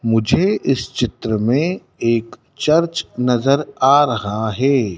मुझे इस चित्र में एक चर्च नजर आ रहा है।